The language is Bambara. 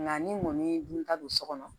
Nka ni mɔni dun ta don so kɔnɔ